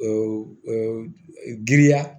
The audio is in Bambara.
Giriya